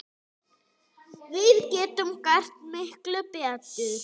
Við getum gert miklu betur!